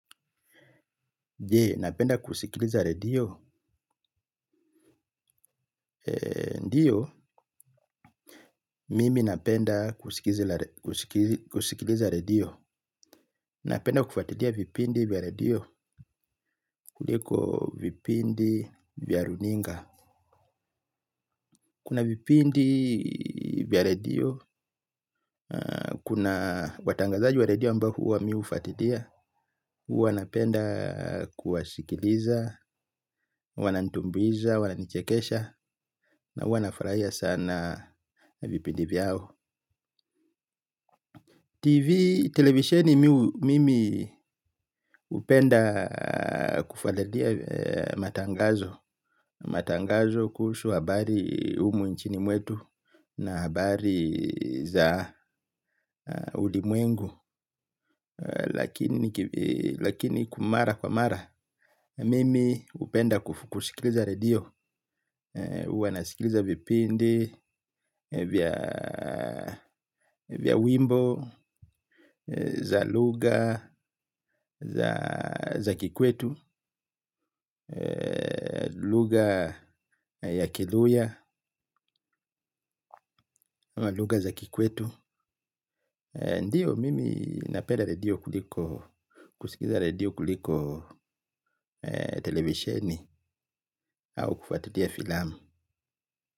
Je, napenda kusikiliza redio, ndiyo mimi napenda kusikiliza redio, napenda kufuatilia vipindi vya redio, kuliko vipindi vya runinga. Kuna vipindi vya redio, kuna watangazaji vya redio ambayo huwa mi hufuatilia, huwa napenda kuwasikiliza, wananitumbuiza, wananichekesha, na huwa nafurahia sana vipindi vyao TV, televisheni mimi hupenda kufuatalia matangazo. Matangazo kuhusu habari humu nchini mwetu na habari za ulimwengu. Lakini kwa mara kwa mara mimi hupenda kusikiliza redio huwa nasikiliza vipindi vya, vya wimbo, za lugha, za kikwetu, lugha ya kiluhya, lugha za kikwetu. Ndiyo mimi napenda redio kuliko, kusikiza radio kuliko televisheni au kufuatilia filamu.